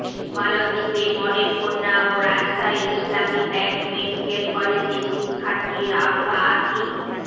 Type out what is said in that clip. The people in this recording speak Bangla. মালদ্বীপের মডেলকন্যা ও রাজশাহীর ইসলামী ব্যাংক মেডিকেল কলেজের শিক্ষার্থী রাউধা আতিফ